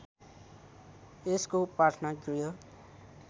यसको प्रार्थना गृह